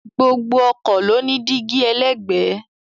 Gbogbo ọkọ̀ ló ní dígí ẹlẹ́gbẹ̀ẹ́